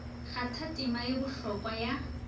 kgatha tema ye bohlokwa ya